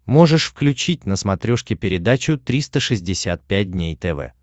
можешь включить на смотрешке передачу триста шестьдесят пять дней тв